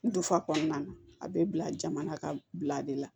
N dufa kɔnɔna na a bɛ bila jama ka bila de la